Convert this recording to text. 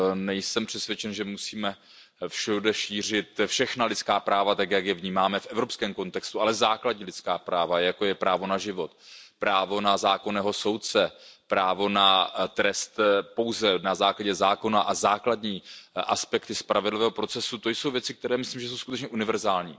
Nejsem přesvědčen, že musíme všude šířit všechna lidská práva tak, jak je vnímáme v evropském kontextu, ale základní lidská práva, jako je právo na život, právo na zákonného soudce, právo na trest pouze na základě zákona a základní aspekty spravedlivého procesu, to jsou věci, které myslím, že jsou skutečně univerzální.